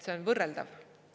See on võrreldav.